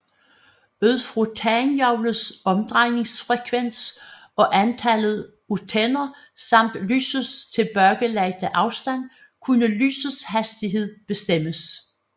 Ud fra tandhjulets omdrejningsfrekvens og antallet af tænder samt lysets tilbagelagte afstand kunne lysets hastighed bestemmes